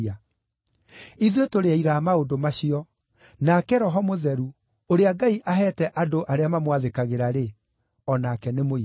Ithuĩ tũrĩ aira a maũndũ macio, nake Roho Mũtheru, ũrĩa Ngai aheete andũ arĩa mamwathĩkagĩra-rĩ, o nake nĩ mũira.”